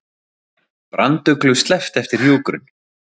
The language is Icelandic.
Branduglu sleppt eftir hjúkrun